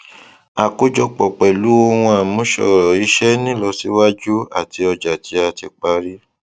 àkójọpọ pẹlu ohun àmúṣọrọ iṣẹnílọsíwájú àti ọjà tí a ti parí